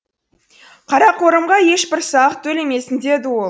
қарақорымға ешбір салық төлемесін деді ол